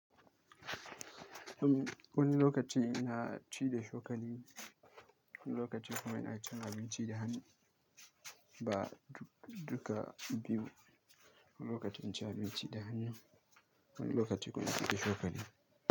Wani lokaci na ci da chokali wani lokaci kuma ina ci da abinci da hannu. Ba duka biyu. Wani lokacin in ci da hannu, wani lokaci kuma na ci da shukani.